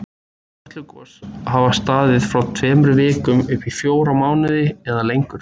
Kötlugos hafa staðið frá tveimur vikum upp í fjóra mánuði eða lengur.